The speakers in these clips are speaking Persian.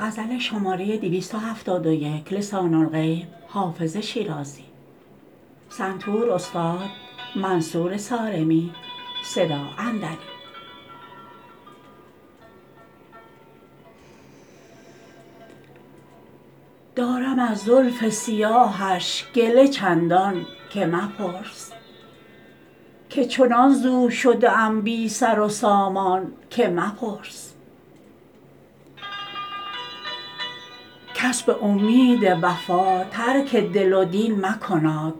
دارم از زلف سیاهش گله چندان که مپرس که چنان ز او شده ام بی سر و سامان که مپرس کس به امید وفا ترک دل و دین مکناد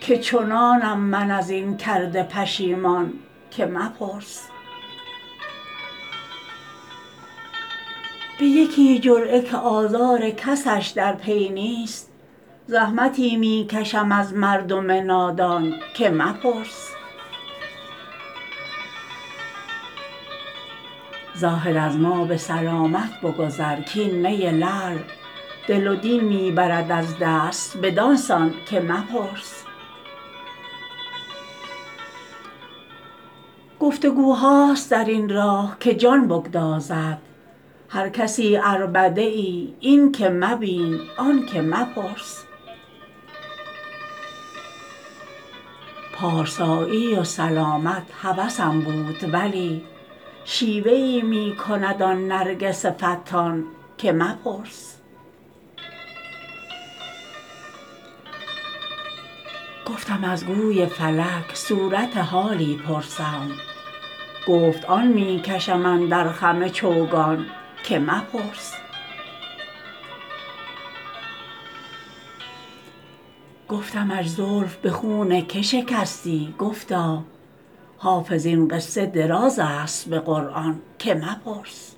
که چنانم من از این کرده پشیمان که مپرس به یکی جرعه که آزار کسش در پی نیست زحمتی می کشم از مردم نادان که مپرس زاهد از ما به سلامت بگذر کـ این می لعل دل و دین می برد از دست بدان سان که مپرس گفت وگوهاست در این راه که جان بگدازد هر کسی عربده ای این که مبین آن که مپرس پارسایی و سلامت هوسم بود ولی شیوه ای می کند آن نرگس فتان که مپرس گفتم از گوی فلک صورت حالی پرسم گفت آن می کشم اندر خم چوگان که مپرس گفتمش زلف به خون که شکستی گفتا حافظ این قصه دراز است به قرآن که مپرس